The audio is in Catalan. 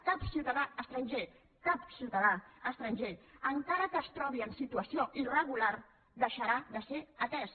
cap ciutadà estranger cap ciutadà estranger encara que es trobi en situació irregular deixarà de ser atès